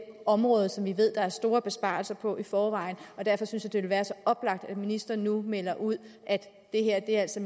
område som vi ved der er store besparelser på i forvejen og derfor synes jeg det vil være så oplagt at ministeren nu melder ud at det altså